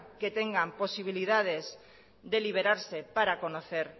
que tengan posibilidades de liberarse para conocer